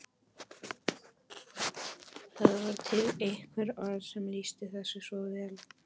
Það var til eitthvert orð sem lýsti þessu svo vel.